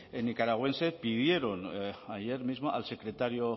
nicaragüense pidieron ayer mismo al secretario